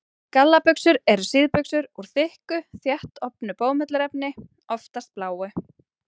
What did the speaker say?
Gallabuxur eru síðbuxur úr þykku, þéttofnu bómullarefni, oftast bláu.